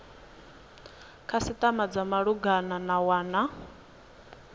khasitama dza malugana na wana